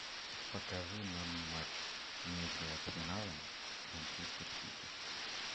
покажи нам матч между арсеналом манчестер сити